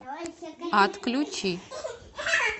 отключи